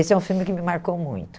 Esse é um filme que me marcou muito.